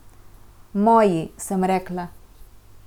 Moji, sem rekla.